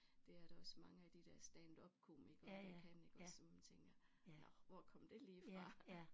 Det er der også mange af de der standupkomikere der kan iggås så man tænker nåh hvor kom det lige fra